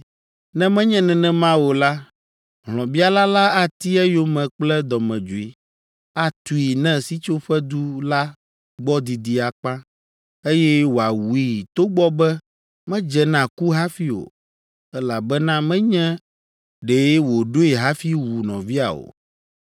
Ne menye nenema o la, hlɔ̃biala la ati eyome kple dɔmedzoe, atui ne sitsoƒedu la gbɔ didi akpa, eye wòawui togbɔ be medze na ku hafi o, elabena menye ɖe wòɖoe hafi wu nɔvia o.